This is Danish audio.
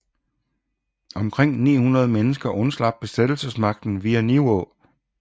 Omkring 900 mennesker undslap besættelsesmagten via Nivå